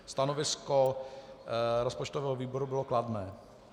Stanovisko rozpočtového výboru bylo kladné.